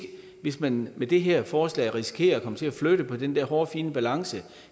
hvis man med det her forslag risikerer at komme til at flytte på den der hårfine balance